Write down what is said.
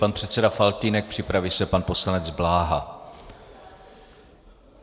Pan předseda Faltýnek, připraví se pan poslanec Bláha.